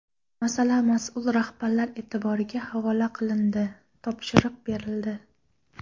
Masala mas’ul rahbarlar e’tiboriga havola qilindi, topshiriq berildi.